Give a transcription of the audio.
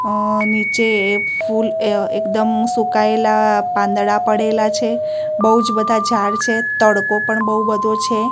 અ નીચે એ ફુલ અ એકદમ સુકાયેલા પાંદડા પડેલા છે બઉ જ બધા ઝાડ છે તડકો પણ બઉ બધો છે.